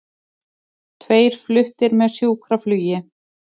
Tveir fluttir með sjúkraflugi